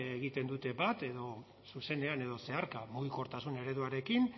egiten dute bat edo zuzenean edo zeharka mugikortasun ereduarekin